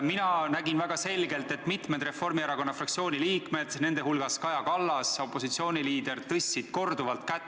Mina nägin väga selgelt, et mitmed Reformierakonna fraktsiooni liikmed, nende hulgas Kaja Kallas, opositsiooniliider, tõstsid korduvalt kätt.